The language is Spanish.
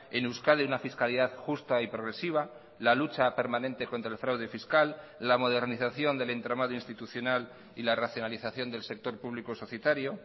en euskadi una fiscalidad justa y progresiva la lucha permanente contra el fraude fiscal la modernización del entramado institucional y la racionalización del sector público societario